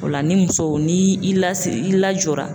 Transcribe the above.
O la ni muso n'i i lasiri, n'i lajɔra.